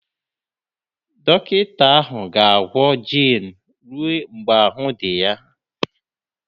Dọkịta ahụ ga-agwọ Jane ruo mgbe ahụ́ dị ya.